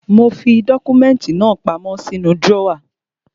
Mo fi dọ́kúmẹ́ntì náà pamọ́ sínú drọ́wà.